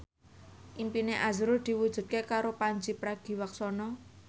impine azrul diwujudke karo Pandji Pragiwaksono